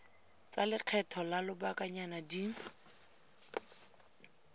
tsa lekgetho la lobakanyana di